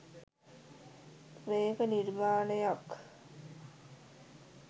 මේක නිර්මාණයක්